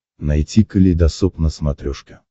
найти калейдосоп на смотрешке